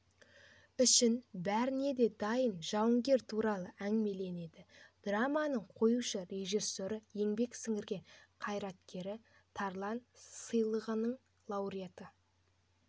үшін бәріне де дайын жауынгер туралы әңгімеленеді драманың қоюшы-режиссері еңбек сіңірген қайраткері тарлан сыйлығының лауреаты